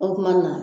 O kuma na